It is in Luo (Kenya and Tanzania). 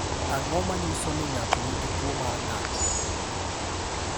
Ang’o ma nyiso ni ng’ato nigi tuwo mar ng’ato?